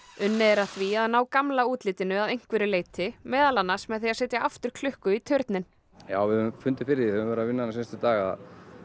unnið er að því að ná gamla útlitinu að einhverju leyti meðal annars með því að setja aftur klukku í turninn já við höfum fundið fyrir við höfum verið að vinna hérna seinustu daga